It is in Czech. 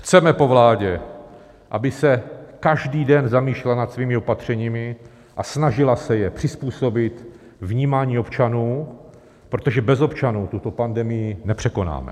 Chceme po vládě, aby se každý den zamýšlela nad svými opatřeními a snažila se je přizpůsobit vnímání občanů, protože bez občanů tuto pandemii nepřekonáme.